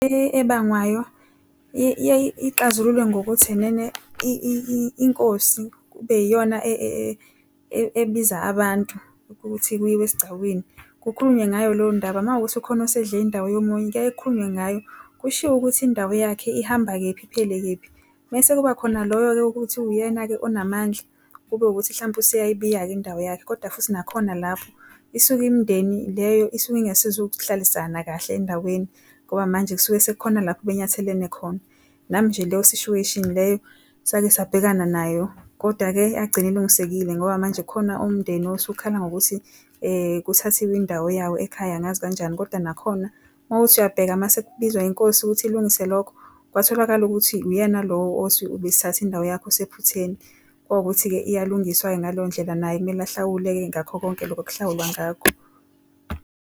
Ebangwayo ixazululwe ngokuthi enene inkosi kube iyona ebiza abantu ukuthi kuyiwe esigcawini kukhulunywe ngayo leyo ndaba makuwukuthi ukhona osedle indawo yomunye, kuyaye kukhulunywe ngayo kushiwo ukuthi indawo eyakhe ihamba kephi iphele kephi. Bese kuba khona loyo-ke ukuthi uyena-ke onamandla kube ukuthi mhlampe useyayibika-ke indawo yakhe. Kodwa futhi, nakhona lapho isuke imindeni leyo isuke ingasuzukuhlalisana kahle endaweni ngoba manje kusuke sekukhona lapho benyathelene khona. Nami nje leyo situation leyo sakhe sabekana nayo, kodwa-ke yagcine ilungisekile ngoba manje kukhona umndeni osukhala ngokuthi kuthathiwe indawo yawo ekhaya, angazi kanjani kodwa nakhona mawuthi uyabheka mase kubizwa inkosi ukuthi ilungise lokho kwatholakala ukuthi uyena lo othi kuthathwe indawo yakho osephutheni. Kwawukuthi-ke iyalungiswa ngaleyondlela naye kumele ahlawule-ke ngakho konke lokho okuhlawulwa ngakho.